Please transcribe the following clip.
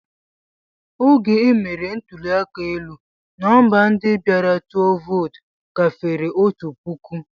Oge e mere ntụli aka elu, nọmba ndị bịara tụọ vootu gafere otu puku.